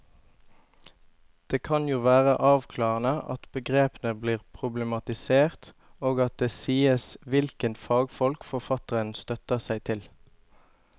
Det kan jo være avklarende at begrepene blir problematisert og at det sies hvilke fagfolk forfatteren støtter seg på.